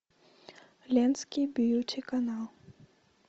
ленский бьюти канал